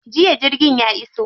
Jiya jirgin ya iso.